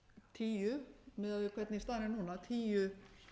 tíu miðað við hvernig staðan er núna tíu